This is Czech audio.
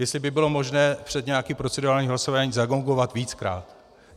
Jestli by bylo možné před nějakým procedurálním hlasováním zagongovat víckrát.